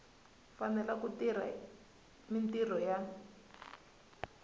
fanele ku tirha mintirho ya